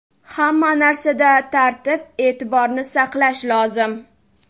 Hamma narsada tartib-e’tiborni saqlash lozim.